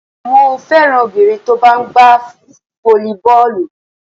Mo féràn obìnrin tó bá ń gbá fólíbọ́ọ̀lù.